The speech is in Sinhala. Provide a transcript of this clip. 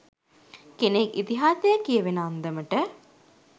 කෙනෙක් ඉතිහාසයේ කියවෙන අන්දමට